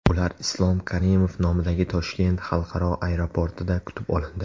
Ular Islom Karimov nomidagi Toshkent xalqaro aeroportida kutib olindi.